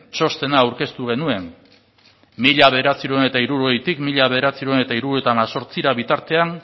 txostena aurkeztu genuen mila bederatziehun eta hirurogeitik mila bederatziehun eta hirurogeita hemezortzira bitartean